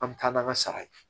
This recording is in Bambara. An bɛ taa n'an ka sara ye